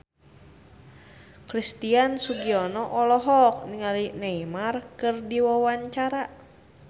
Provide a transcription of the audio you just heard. Christian Sugiono olohok ningali Neymar keur diwawancara